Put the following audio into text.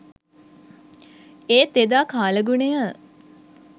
ඒත් එදා කාලගුණය